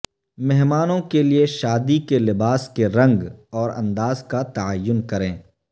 مہمانوں کے لئے شادی کے لباس کے رنگ اور انداز کا تعین کریں